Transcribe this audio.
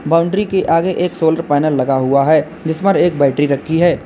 Boundary के आगे एक सोलर पैनल लगा हुआ है जिसपर एक बैटरी रखी है।